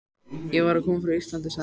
Ég var að koma frá Íslandi, sagði hann.